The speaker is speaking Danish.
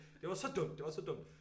Det var så dumt det var så dumt